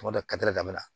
Tuma dɔ damina